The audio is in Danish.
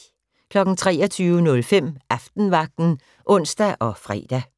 23:05: Aftenvagten (ons og fre)